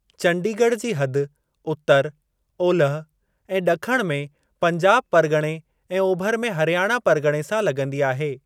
चंडीगढ़ जी हद उतर, ओलिहि ऐं ड॒खण में पंजाब परगि॒णे ऐं ओभिरि में हरियाणा परगि॒णे सां लगं॒दी आहे।